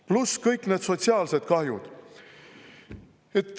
Pluss kõik need sotsiaalsed kahjud.